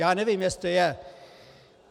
Já nevím, jestli je.